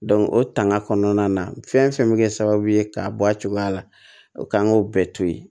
o tanga kɔnɔna na fɛn fɛn bɛ kɛ sababu ye k'a bɔ a cogoya la o k'an k'o bɛɛ to yen